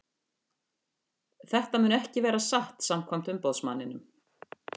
Þetta mun ekki vera satt samkvæmt umboðsmanninum.